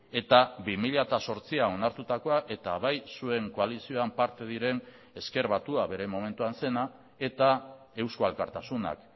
eta bi mila zortzian onartutakoa eta bai zuen koalizioan parte diren ezker batua bere momentuan zena eta eusko alkartasunak